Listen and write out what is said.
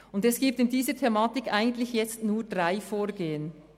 Bei dieser Thematik gibt es eigentlich nur drei Vorgehensweisen.